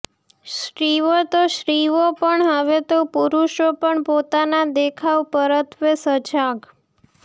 સ્ત્રીઓ તો સ્ત્રીઓ પણ હવે તો પુરુષો પણ પોતાના દેખાવ પરત્વે સજાગ